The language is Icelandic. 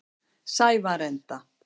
Sævarenda